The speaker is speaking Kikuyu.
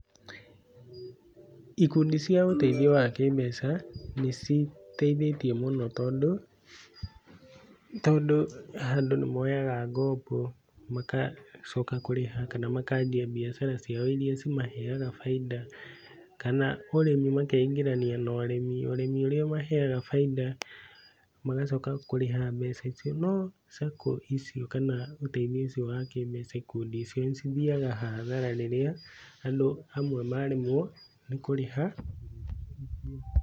ikundi cia ũteithio wa kĩmbeca nĩciteithĩtie mũno tondũ andũ nĩ moyaga ngombo magacoka kũrĩha na makanjia biacara ciao iria cimaheaga baida kana ũrĩmi makeingĩrania na ũrĩmi, ũrĩmi ũrĩa ũmaheaga baida magacoka kũrĩha mbeca icio, no sacco icio kana ũteithio ũcio wa kĩ mbeca ikundi icio nĩcithiaga hathara rĩrĩa andũ amwe maremwo nĩ kũrĩha